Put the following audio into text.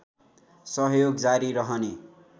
सहयोग जारी रहने